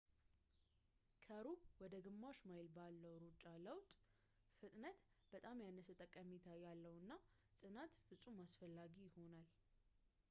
ከሩብ ወደ ግማሽ ማይል ሩጫ ባለው ለውጥ ፣ ፍጥነት በጣም ያነሰ ጠቀሜታ ያለው እና ጽናት ፍጹም አስፈላጊ ይሆናል